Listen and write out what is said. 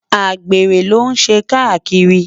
àgbèrè ló n ṣé kakírì